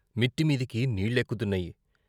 మిట్టి మీదికి నీళ్ళెక్కుతున్నాయి .